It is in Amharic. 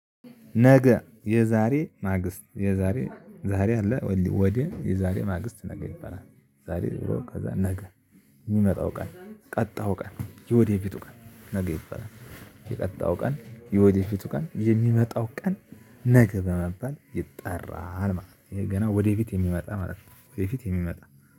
ነገ የዛሬ ማግስት የዛሬ ዛሬ አለ ወዲህ የዛሬ ማግስት ነገ ይባላል ዛሬ ዝሮ ከዛ ነገ የሚመጣው ቀን ቀጣው ቀን የወዴፊቱ ቀን ነገ ይበላል የቀጣዩ ቀን የወደፊቱ ቀን የሚመጣው ቀን ነገ በመባል ይጠራል ማለት ነው ገና ወደፊት የሚመጣ ማለት ነው ወደፊት የሚመጣ